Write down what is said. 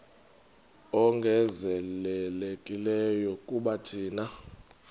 ongezelelekileyo kuba thina